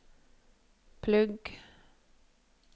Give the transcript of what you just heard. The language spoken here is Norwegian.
plugg